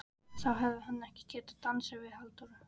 En þá hefði hann ekki getað dansað við Halldóru